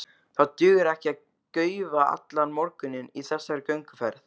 Það dugir ekki að gaufa allan morguninn í þessari gönguferð.